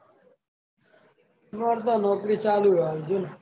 માર તો નોકરી ચાલુ હે હાલ જો ને.